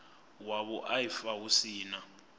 wa vhuaifa hu si na